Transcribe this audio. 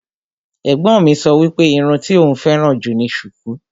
Ẹ̀gbọ́n mi sọ wípé irun tí òún féràn jù ni sùkú.